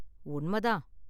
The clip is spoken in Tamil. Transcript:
உண்ம தான்.